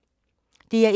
DR1